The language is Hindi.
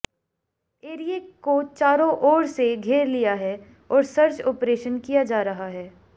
एरिए को चारों ओर से घेर लिया है और सर्च ऑपरेशन किया जा रहा है